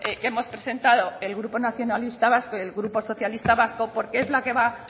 que hemos presentado el grupo nacionalista vasco y el grupo socialista vasco porque es la que va